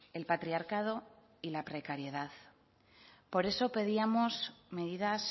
el patriarcado y la precariedad por eso pedíamos medidas